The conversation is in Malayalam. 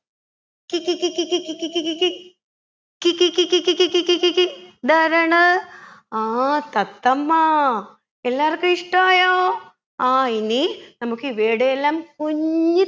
കികി കികി കികി കികി കി കി കി കിക്കി കിക്കി കിക്കി കിക്കി കി ഇതാരാണ് ആ തത്തമ്മ എല്ലാവർക്കും ഇഷ്ടയോ ആ ഇനി നമുക്കിവയുടെയെല്ലാം കുഞ്ഞി